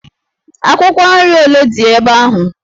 Akwụkwọ nri ole dị ebe ahụ?